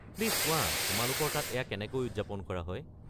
Please কোৱা, তোমালোকৰ তাত এয়া কেনেকৈ উদযাপন কৰা হয়?